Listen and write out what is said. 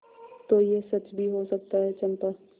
तो यह सच भी हो सकता है चंपा